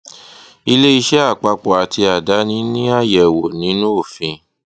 ilé iṣẹ àpapọ àti àdáni ní àyẹwò nínú òfin